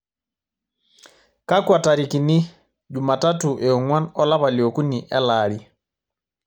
kakua tarikini jumatatu eong'uan olapa leokuni elaari